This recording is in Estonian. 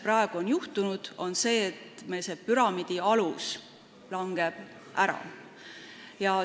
Praegu on juhtunud see, et püramiidi alus hakkab ära langema.